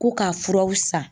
Ko ka furaw san.